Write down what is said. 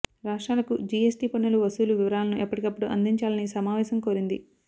రాష్ర్టాలకు GST పన్నుల వసూలు వివరాలను ఎప్పటికప్పుడు అందించాలని సమావేశం కోరింది